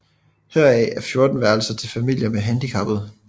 Heraf er 14 værelser til familier med handicappede